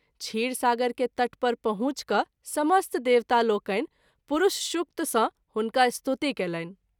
क्षीर सागर के तट पर पहुँच कय समस्त देवता लोकनि पुरूषशुक्त सँ हुनका स्तुति कएलनि।